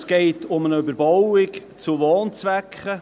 Es geht um eine Überbauung zu Wohnzwecken.